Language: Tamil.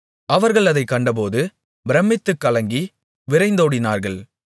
அவர்கள் அதைக் கண்டபோது பிரமித்துக் கலங்கி விரைந்தோடினார்கள்